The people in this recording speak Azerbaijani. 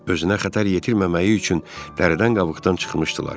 Özünə xəttər yetirməməyi üçün dəridən qabıqdan çıxmışdılar.